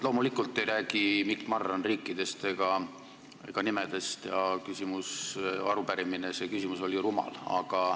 Loomulikult ei räägi Mikk Marran riikidest ega nimedest ja arupärimine, see küsimus oli rumal.